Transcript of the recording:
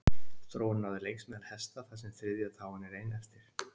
Þróunin náði lengst meðal hesta þar sem þriðja táin er ein eftir.